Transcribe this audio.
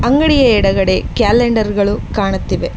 ಅಂಗಡಿ ಎಡಗಡೆ ಕ್ಯಾಲೆಂಡರ್ ಗಳು ಕಾಣುತ್ತಿವೆ.